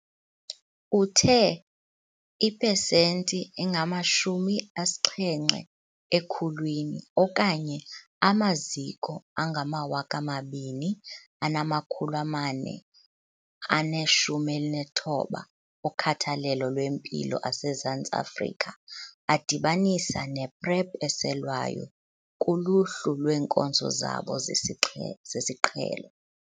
Uthe ipesenti engamashumi asixhenxe ekhulwini, okanye amaziko angama-2 419 okhathalelo lwempilo asezantsi Afrika adibanisa ne-PrEP eselwayo kuluhlu lweenkonzo zabo zesixhe zesiqhelo.